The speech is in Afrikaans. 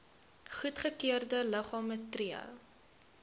goedgekeurde liggame tree